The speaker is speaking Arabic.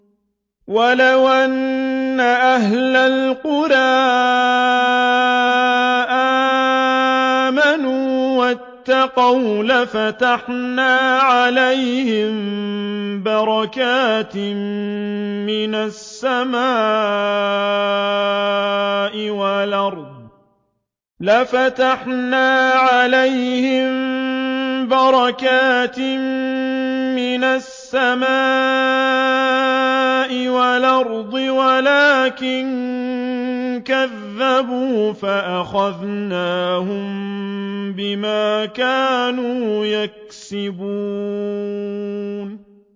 وَلَوْ أَنَّ أَهْلَ الْقُرَىٰ آمَنُوا وَاتَّقَوْا لَفَتَحْنَا عَلَيْهِم بَرَكَاتٍ مِّنَ السَّمَاءِ وَالْأَرْضِ وَلَٰكِن كَذَّبُوا فَأَخَذْنَاهُم بِمَا كَانُوا يَكْسِبُونَ